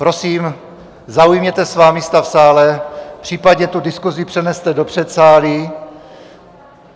Prosím, zaujměte svá místa v sále, případně tu diskuzi přeneste do předsálí.